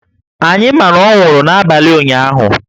Anyị ma na ọ nwụrụ n’abalị ụnyahụ